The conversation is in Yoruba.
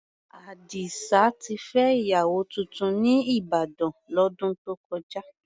Àdìsá ti fẹ́ ìyàwó tuntun ní Ìbàdàn, lọ́dún tó kọjá.